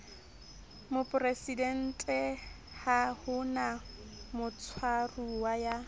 moporesidenteha ho na motshwaruwa ya